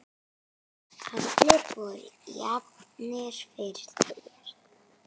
Allir voru jafnir fyrir þér.